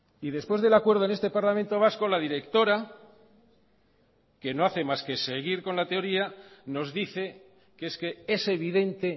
y después del acuerdo en este parlamento vasco la directora que no hace más que seguir con la teoría nos dice que es que es evidente